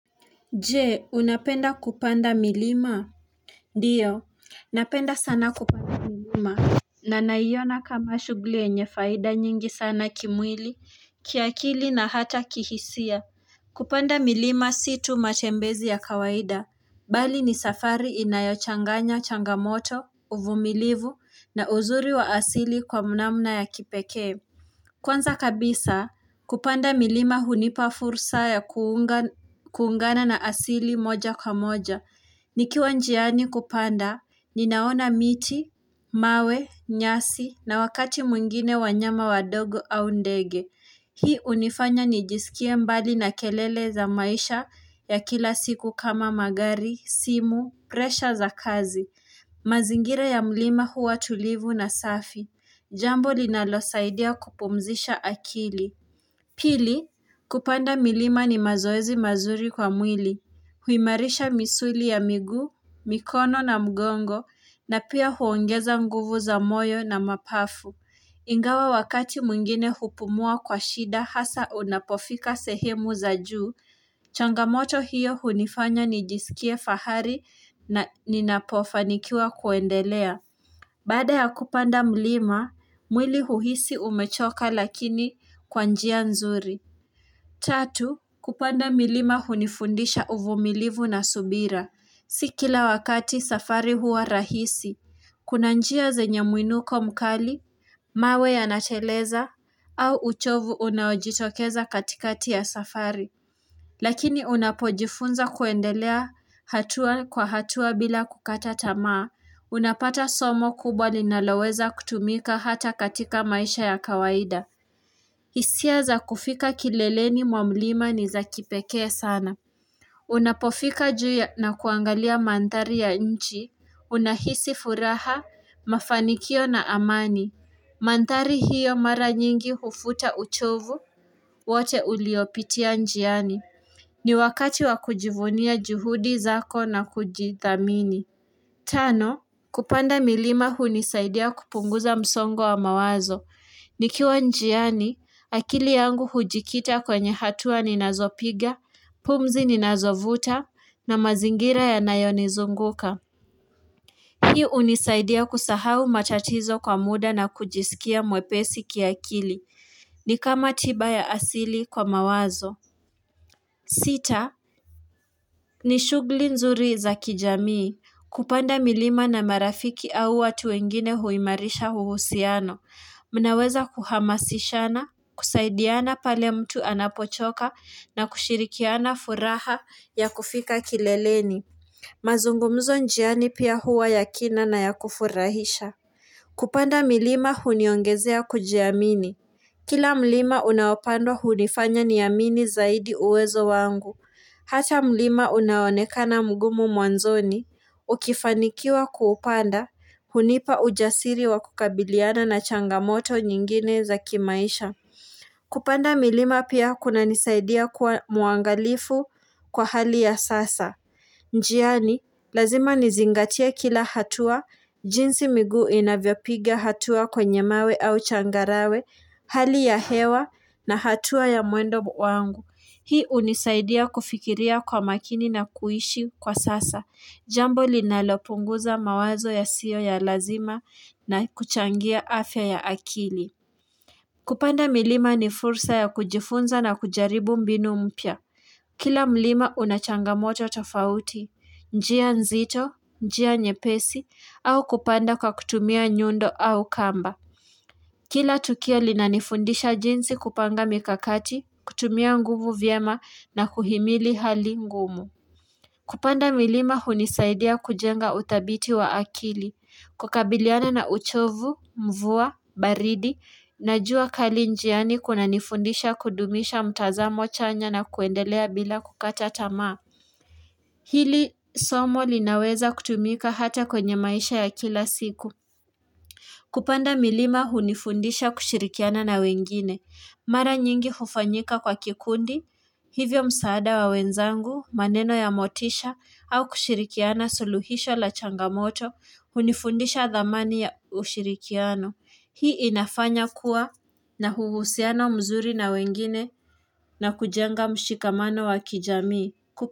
Jee unapenda kupanda milima Dio napenda sana kupanda milima Nanaiona kama shugli yenye faida nyingi sana kimwili kiakili na hata kihisia kupanda milima si tu matembezi ya kawaida Bali ni safari inayochanganya changamoto uvumilivu na uzuri wa asili kwa mnamna ya kipekee Kwanza kabisa, kupanda milima hunipafursa ya kuunga kuungana na asili moja kwa moja. Nikiwanjiani kupanda, ninaona miti, mawe, nyasi na wakati mwingine wanyama wadogo au ndege. Hii unifanya nijisikie mbali na kelele za maisha ya kila siku kama magari, simu, presha za kazi. Mazingira ya milima huwa tulivu na safi. Jambo linalo saidia kupumzisha akili. Pili, kupanda milima ni mazoezi mazuri kwa mwili. Huimarisha misuli ya miguu, mikono na mgongo, na pia huongeza nguvu za moyo na mapafu. Ingawa wakati mwingine hupumua kwa shida hasa unapofika sehemu za juu. Changamoto hiyo hunifanya nijisikie fahari na ninapofanikiwa kuendelea. Baada ya kupanda mlima, mwili huhisi umechoka lakini kwanjia nzuri. Tatu, kupanda milima hunifundisha uvumilivu na subira. Sikila wakati safari hua rahisi. Kuna njia zenye muinuko mkali, mawe ya nateleza, au uchovu unaojitokeza katikati ya safari. Lakini unapojifunza kuendelea hatua kwa hatua bila kukata tamaa, unapata somo kubwa linaloweza kutumika hata katika maisha ya kawaida. Hisia za kufika kileleni mwamlima ni za kipekee sana. Unapofika juu ya na kuangalia mandhari ya nchi, unahisi furaha, mafanikio na amani. Mandhari hiyo mara nyingi hufuta uchovu, wote uliopitia njiani. Ni wakati wakujivunia juhudi zako na kujithamini. Tano, kupanda milima hunisaidia kupunguza msongo wa mawazo. Nikiwa njiani, akili yangu hujikita kwenye hatua ninazopiga, pumzi ninazovuta, na mazingira ya nayonizunguka. Hii unisaidia kusahau matatizo kwa muda na kujisikia mwepesi ki akili. Ni kama tiba ya asili kwa mawazo. Sita, ni shugli nzuri za kijamii. Kupanda milima na marafiki au watu wengine huimarisha huhusiano. Mnaweza kuhamasishana, kusaidiana pale mtu anapochoka na kushirikiana furaha ya kufika kileleni. Mazungumzo njiani pia hua yakina na ya kufurahisha. Kupanda milima huniongezea kujiamini. Kila mlima unaopandwa hunifanya niamini zaidi uwezo wangu. Hata mlima unaonekana mgumu mwanzoni. Ukifanikiwa kuupanda, hunipa ujasiri wa kukabiliana na changamoto nyingine za kimaisha. Kupanda milima pia kuna nisaidia kuwa muangalifu kwa hali ya sasa njiani, lazima nizingatie kila hatua jinsi miguu inavyopiga hatua kwenye mawe au changarawe Hali ya hewa na hatua ya muendo wangu Hii unisaidia kufikiria kwa makini na kuishi kwa sasa Jambo linalopunguza mawazo ya siyo ya lazima na kuchangia afya ya akili kupanda milima ni fursa ya kujifunza na kujaribu mbinu mpya. Kila mlima unachangamoto tofauti, njia nzito, njia nyepesi, au kupanda kwa kutumia nyundo au kamba. Kila tukio linanifundisha jinsi kupanga mikakati, kutumia nguvu vyema na kuhimili hali ngumu. Kupanda milima hunisaidia kujenga uthabiti wa akili. Kukabiliana na uchovu, mvua, baridi, na jua kali njiani kuna nifundisha kudumisha mtazamo chanya na kuendelea bila kukata tamaa. Hili somo linaweza kutumika hata kwenye maisha ya kila siku. Kupanda milima hunifundisha kushirikiana na wengine. Mara nyingi hufanyika kwa kikundi, hivyo msaada wa wenzangu, maneno ya motisha, au kushirikiana suluhisho la changamoto, hunifundisha dhamani ya ushirikiano. Hii inafanya kuwa na huhusiano mzuri na wengine na kujenga mshikamano wa kijamii.